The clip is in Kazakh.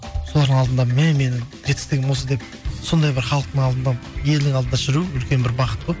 солардың алдында міне менің жетістігім осы деп сондай бір халықтың алдында елдің алдында жүру үлкен бір бақыт қой мхм